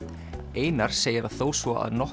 einar segir að þó svo að nokkuð